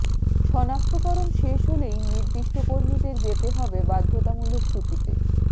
শনাক্তকরণ শেষ হলেই নির্দিষ্ট কর্মীদের যেতে হবে বাধ্যতামূলক ছুটিতে